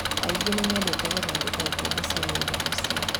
Angĩ nĩ mendete gũthondeka ikombe cia rĩũmba mũciĩ.